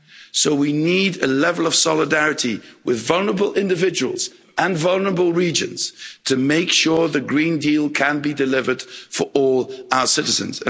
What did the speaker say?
So we need a level of solidarity with vulnerable individuals and vulnerable regions to make sure the Green Deal can be delivered for all our citizens.